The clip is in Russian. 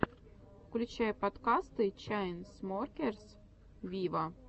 включай подкасты чайнсмокерс виво